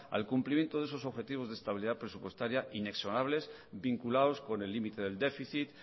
al cumplimiento de esos objetivos de estabilidad presupuestaria inexorables vinculados con el límite del déficit